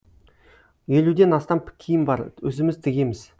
елуден астам киім бар өзіміз тігеміз